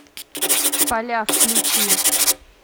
поля включи